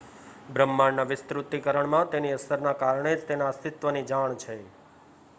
બ્રહ્માંડના વિસ્તૃતીકરણમાં તેની અસરના કારણે જ તેના અસ્તિત્વની જાણ છે